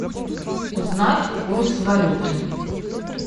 узнать курс валюты